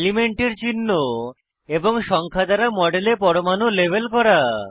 এলিমেন্টের চিহ্ন এবং সংখ্যা দ্বারা মডেলে পরমাণু লেবেল করা